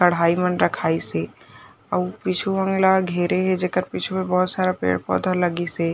कढ़ाई मन रखाईसे अउ पिछु मन ला घेरे हे जे के पिछु बहोत सारा पेड़-पौधा लगिसे--